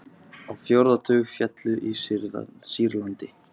Á fjórða tug féllu í Sýrlandi